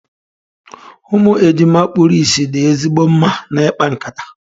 Ụmụ ejima kpuru ìsì dị ezigbo mma na ikpa nkata.